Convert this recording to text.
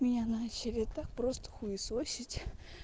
меня начали так просто хуесосить